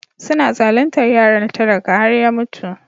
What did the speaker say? Suna zaluntar yaron talaka har ya mutu.